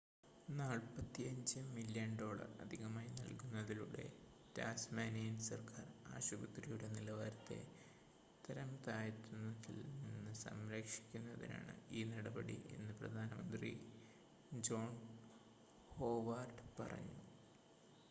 45 million dollar അധികമായി നൽകുന്നതിലൂടെ Tasmanian സർക്കാർ ആശുപത്രിയുടെ നിലവാരത്തെ തരംതാഴ്ത്തുന്നതിൽ നിന്ന് സംരക്ഷിക്കുന്നതിനാണ് ഈ നടപടി എന്ന് പ്രധാനമന്ത്രി ജോൺ ഹോവാർഡ് പറഞ്ഞു